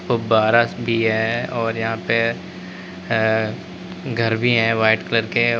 फुब्बारा भी है और यहां पे अअ घर भी हैं व्हाइट कलर के--